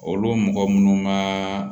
Olu mɔgɔ munnu ka